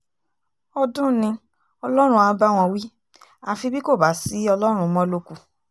ọdún ni ọlọ́run á bá wọn wí àfi bí kò bá sí ọlọ́run mọ́ ló kù